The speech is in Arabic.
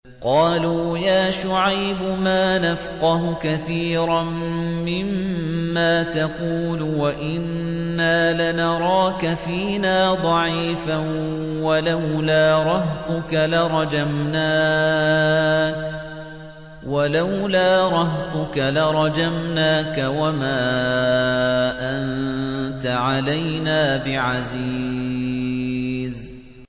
قَالُوا يَا شُعَيْبُ مَا نَفْقَهُ كَثِيرًا مِّمَّا تَقُولُ وَإِنَّا لَنَرَاكَ فِينَا ضَعِيفًا ۖ وَلَوْلَا رَهْطُكَ لَرَجَمْنَاكَ ۖ وَمَا أَنتَ عَلَيْنَا بِعَزِيزٍ